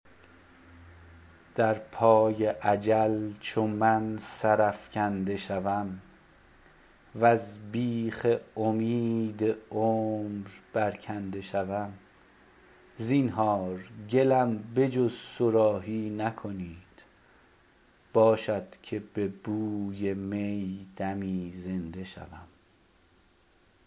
در پای اجل چو من سرافکنده شوم وز بیخ امید عمر برکنده شوم زینهار گلم به جز صراحی نکنید باشد که ز بوی می دمی زنده شوم